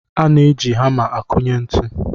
A na-eji hama akụnye ntụ.